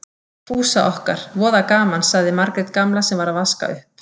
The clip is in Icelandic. Fúsa okkar, voða gaman, sagði Margrét gamla sem var að vaska upp.